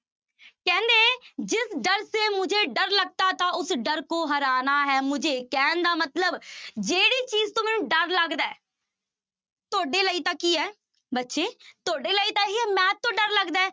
ਕਹਿੰਦੇ ਜਿਸ ਡਰ ਸੇ ਮੁਜੇ ਡਰ ਲਗਤਾ ਥਾ ਉਸ ਡਰ ਕੋ ਹਰਾਨਾ ਹੈ ਮੁਜੇ, ਕਹਿਣ ਦਾ ਮਤਲਬ ਜਿਹੜੀ ਚੀਜ਼ ਤੋਂ ਮੈਨੂੰ ਡਰ ਲੱਗਦਾ ਹੈ ਤੁਹਾਡੇ ਲਈ ਤਾਂ ਕੀ ਹੈ ਬੱਚੇ ਤੁਹਾਡੇ ਲਈ ਤਾਂ ਇਹੀ ਹੈ math ਤੋਂ ਡਰ ਲੱਗਦਾ ਹੈ।